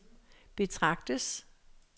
betragtes